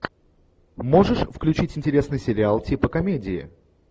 можешь включить интересный сериал типа комедии